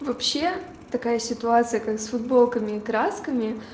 вообще такая ситуация как с футболками и красками